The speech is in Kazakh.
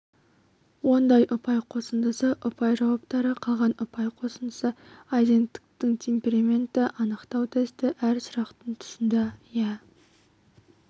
онда ұпай қосындысы ұпай жауаптары қалған ұпай қоысндысы айзенктің темпераментті анықтау тесті әр сұрақтың тұсында иә